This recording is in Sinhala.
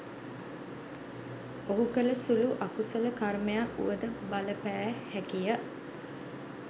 ඔහු කළ සුළු අකුසල කර්මයක් වුවද බලපෑ හැකිය.